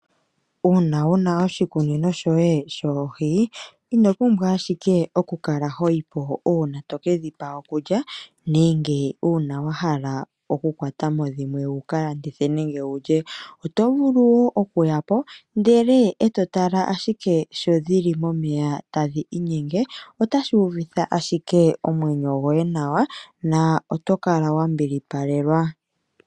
Uuna wuna oshikunino shoye shoohi ino pumbwa owala oku kala hoyi po uuna tokedhipa okulya nenge wahala oku kwatamo dhimwe wukalandithe nenge wulye. Oto vulu okuya po eto tala ashike nkene dhili momeya tadhi inyenge oto uvitha ashike omwenyo gwoye nawa noto kala wa mbilipakelwa.